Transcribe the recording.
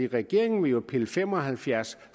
regeringen vil pille fem og halvfjerds